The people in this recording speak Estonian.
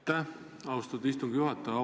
Aitäh, austatud istungi juhataja!